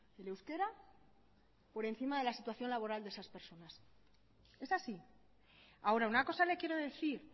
el euskera por encima de la situación laboral de esas personas es así ahora una cosa le quiero decir